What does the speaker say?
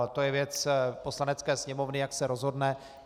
Ale to je věc Poslanecké sněmovny, jak se rozhodne.